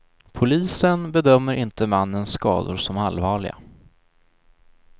Polisen bedömer inte mannens skador som allvarliga.